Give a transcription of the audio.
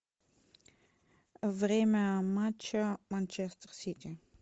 время матча манчестер сити